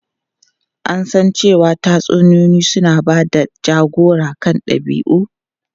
An san cewa tatsuniyoyi suna ba da jagora kan dabi'u.